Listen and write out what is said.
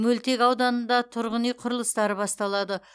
мөлтек ауданында тұрғын үй құрылыстары басталады